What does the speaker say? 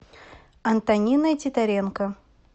антониной титаренко